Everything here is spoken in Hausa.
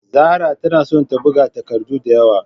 Zarah tana son ta buga takardu da yawa.